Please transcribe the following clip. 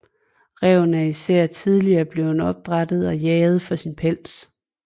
Ræven er især tidligere blevet opdrættet og jaget for sin pels